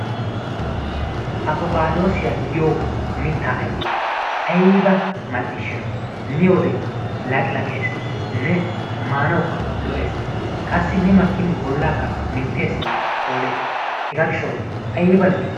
apokkadossiya giyo mittaa ayfe aybba mal''ishsha miyoode laqqilaqqeesinne maanawuka lo''ees qassi mi makkin bollakka mintessinne koolees. hega gishshaw aybba lo''i!